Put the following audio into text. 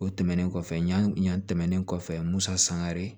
O tɛmɛnen kɔfɛ ɲan ɲan tɛmɛnen kɔfɛ musa sangare